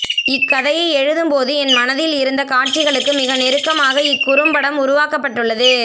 இக்கதையை எழுதும் போது என் மனதில் இருந்த காட்சிகளுக்கு மிக நெருக்கமாக இக்குறும்படம் உருவாக்கபட்டுள்ளது